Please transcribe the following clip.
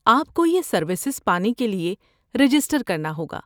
آپ کو یہ سروسز پانے کے لیے رجسٹر کرنا ہوگا۔